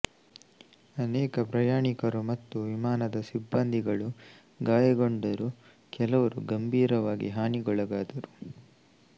ಅನೇಕ ಪ್ರಯಾಣಿಕರು ಮತ್ತು ವಿಮಾನದ ಸಿಬ್ಬಂದಿಗಳು ಗಾಯಗೊಂಡರು ಕೆಲವರು ಗಂಭೀರವಾಗಿ ಹಾನಿಗೊಳಗಾದರು